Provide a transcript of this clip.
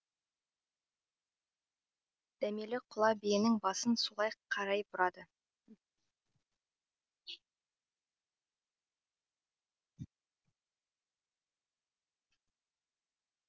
дәмелі құла биенің басын солай қарай бұрады